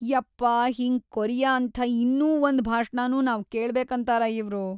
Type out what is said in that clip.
ಯಪ್ಪಾ ಹಿಂಗ್ ಕೊರಿಯ ಅಂಥ ಇನ್ನೂ ಒಂದ್‌ ಭಾಷ್ಣನೂ ನಾವ್‌ ಕೇಳ್ಬೆಕಂತಾರ ಇವ್ರು.